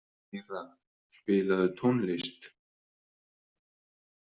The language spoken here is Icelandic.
Lýra, spilaðu tónlist.